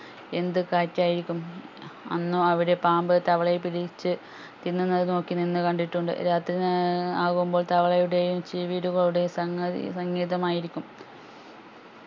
എന്തു കാഴ്ച ആയിരിക്കും അന്നു അവിടെ പാമ്പ് തവളയെ പിടിച്ചു തിന്നുന്നത് നോക്കി നിന്ന് കണ്ടിട്ടുണ്ട് രാത്രി ഏർ ആകുമ്പോൾ തവളയുടെ ചീവീടുകളുടെയും സംഗതി സംഗേതമായിരിക്കും